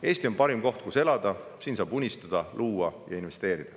Eesti on parim koht, kus elada, siin saab unistada, luua ja investeerida.